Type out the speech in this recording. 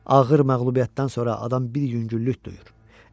Ağır məğlubiyyətdən sonra adam bir yüngüllük duyur.